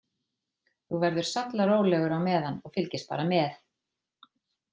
Þú verður sallarólegur á meðan og fylgist bara með.